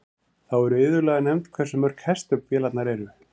Þá er iðulega nefnt hversu mörg hestöfl vélarnar eru.